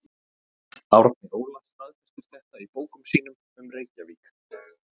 Árni Óla staðfestir þetta í bókum sínum um Reykjavík.